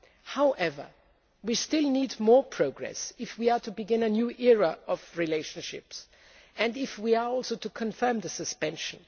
However, we still need more progress if we are to begin a new era in our relationship and if we are also to confirm the suspension.